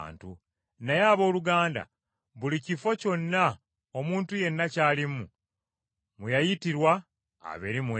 Kale abooluganda, buli kifo kyonna omuntu yenna ky’alimu, mwe yayitirwa abeere mu ekyo.